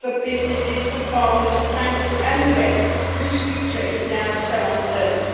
for businesses, for farmers, for bankers and for the rest, whose future is now so uncertain.